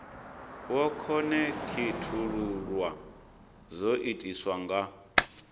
wo khonekhithululwa zwo itiswa nga